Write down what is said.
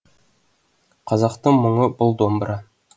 қазақтың мұңы бұл домбыра